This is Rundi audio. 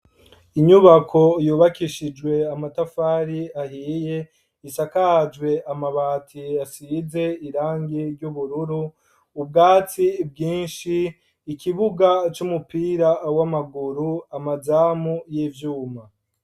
Inyubako yubakishije amatafari ahiye isakajwe amabati asize irangi ry'ubururu, ubwatsi bwinshi , ikibuga c'umupira w'amaguru, amazamu y'ivyuma.